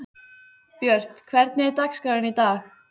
Björt, hvernig er dagskráin í dag?